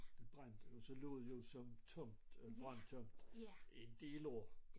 Det brændte og så lå det jo som tomt brandtomt en del år